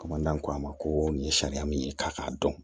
ko a ma ko nin ye sariya min ye k'a k'a dɔn